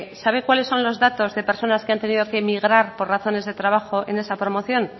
sabe cuáles son los datos de personas que han tenido que emigrar por razones de trabajo en esa promoción